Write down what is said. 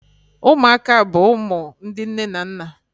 Ụmụaka bụ ụmụ ndị nne na nna